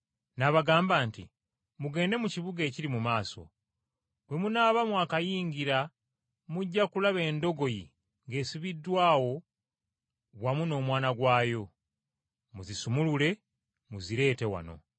N’abagamba nti, “Mugende mu kibuga ekiri mu maaso, bwe munaaba mwakakiyingira mujja kulaba endogoyi ng’esibiddwa awo wamu n’omwana gwayo. Muzisumulule muzireete wano.